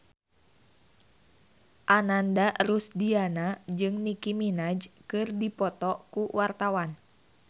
Ananda Rusdiana jeung Nicky Minaj keur dipoto ku wartawan